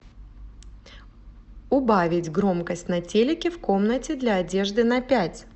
убавить громкость на телике в комнате для одежды на пять